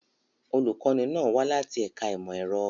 Olùkọ́ni náà wá láti ẹ̀ka ìmọ̀ ẹ̀rọ.